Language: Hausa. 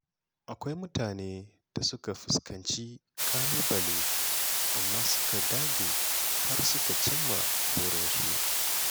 Akwai mutane da suka fuskanci ƙalubale, amma suka dage har suka cimma burinsu.